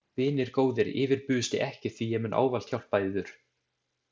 Vinir góðir, yfirbugisti ekki því ég mun ávallt hjálpa yður.